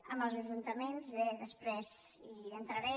en els ajuntaments bé després hi entraré